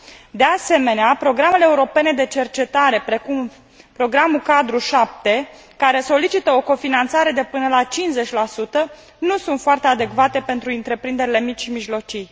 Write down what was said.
De asemenea, programele europene de cercetare precum Programul cadru 7, care solicită o cofinanțare de până la 50 nu sunt foarte adecvate pentru întreprinderile mici și mijlocii.